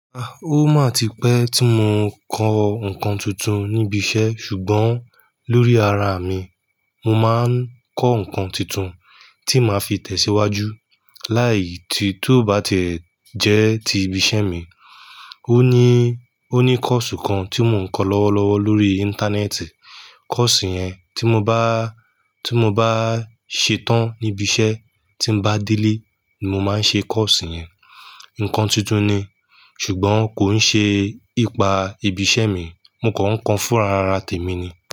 Rárá, ó máa ti pé tí mo kọ́ nǹkan tuntun níbi iṣẹ́ ṣùgbọ́n lórí ara mi, mo máa ń kọ́ nǹkan tuntun tí màá fi tẹ̀síwájú. Láì tí tó bá ti jẹ́ ti ibi iṣẹ́ mi. Ó ní, ó ní kọ́ọ̀sì kan tí mo ń kọ́ lọ́wọ́lọ́wọ́ lórí íńtánẹ́ẹ̀tì. Kọ́ọ̀sì yẹn tí mo bá, tí mo bá ṣe tán níbi iṣẹ́ tí bá délé, mo máa ṣe kọ́ọ̀sì yẹn. Nǹkan tuntun ni ṣùgbọ́n kò ń ṣe ipa ibi iṣẹ́ mi. Mo kọ̀ ń kọ́ fúnra ara tèmi ni.